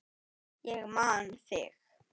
Ég man þig!